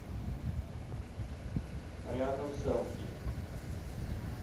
рядом сэлфи